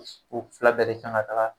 U fila bɛɛ de kan ka taga.